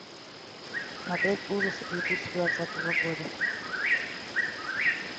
смотреть ужасы две тысячи двадцатого года